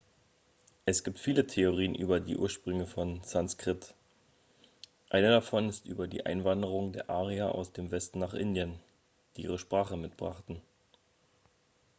es gibt viele theorien über die ursprünge von sanskrit eine davon ist über die einwanderung der arier aus dem westen nach indien die ihre sprache mitbrachten